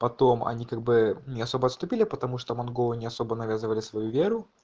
потом они как бы не особо отступили потому что монголы не особо навязывали свою веру